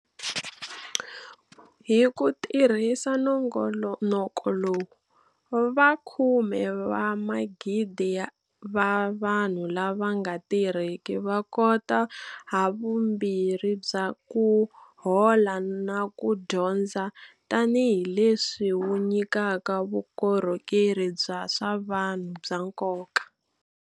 Hi ku tirhisa nongoloko lowu, vakhume va migidi va vanhu lava nga tirhiki va kota havumbirhi bya ku hola na ku dyondza tanihileswi wu nyikaka vukorhokeri bya swa vanhu bya nkoka.